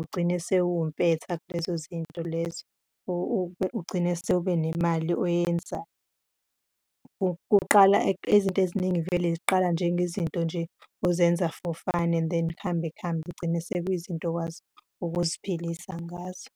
ugcine sewumpetha kulezo zinto lezo, ugcine sewubenemali oyenzayo. Ukuqala izinto eziningi vele ziqala njengezinto nje ozenza for fun and then kuhambe kuhambe kugcine sekuyizinto okwazi ukuziphilisa ngazo.